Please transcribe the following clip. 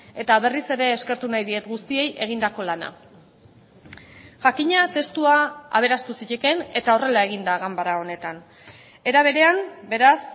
eta berriz ere eskertu nahi diet guztiei egindako lana jakina testua aberastu zitekeen eta horrela egin da ganbara honetan era berean beraz